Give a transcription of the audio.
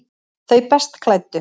Þau best klæddu